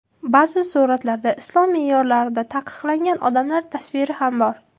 Ba’zi suratlarda islom me’yorlarida taqiqlangan odamlar tasviri ham bor.